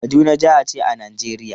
Kaduna jaha ce a Najeriya.